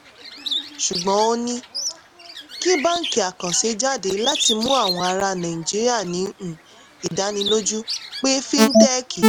ṣùgbọ́n ó ní kí báńkì àkànṣe jáde láti mú àwọn ará nàìjíríà ní um ìdánilójú pé fíntẹ́kì